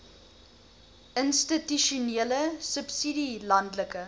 institusionele subsidie landelike